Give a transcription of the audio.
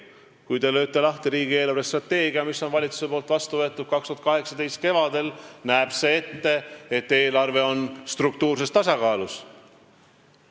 Kui te lööte lahti riigi eelarvestrateegia, mille valitsus on vastu võtnud 2018. aasta kevadel, siis see näeb ette, et eelarve on struktuurses tasakaalus ja nominaalselt ülejäägis.